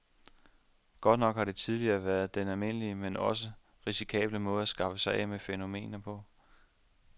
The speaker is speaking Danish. Godt nok har det tidligere været den almindelige, men altså også risikable måde at skaffe sig af med fænomenet på.